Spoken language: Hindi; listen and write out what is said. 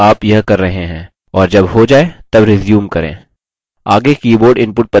tutorial को रोक दें जब तक आप यह कर रहे हैं और जब हो जाय तब रिज्यूम करें